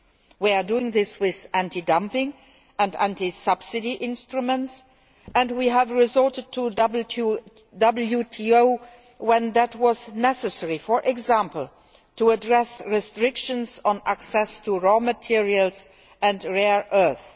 We are doing this with anti dumping and anti subsidy instruments and we have resorted to the WTO when that was necessary, for example to address restrictions on access to raw materials and rare earths.